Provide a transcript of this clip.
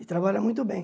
E trabalha muito bem.